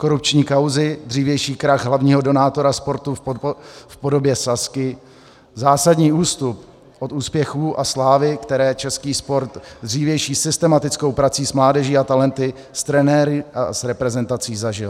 Korupční kauzy, dřívější krach hlavního donátora sportu v podobě Sazky, zásadní ústup od úspěchů a slávy, které český sport dřívější systematickou prací s mládeží a talenty, s trenéry a s reprezentací zažil.